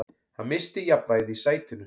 Hann missti jafnvægið í sætinu.